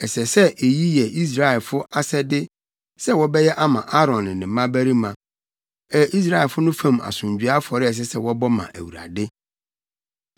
Ɛsɛ sɛ eyi yɛ Israelfo asɛde sɛ wɔbɛyɛ ama Aaron ne ne mmabarima. Ɛyɛ Israelfo no fam asomdwoe afɔre a ɛsɛ sɛ wɔbɔ ma Awurade.